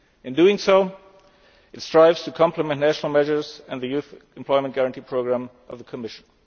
people. In doing so, it strives to complement national measures and the Youth Employment Guarantee programme of the Commission.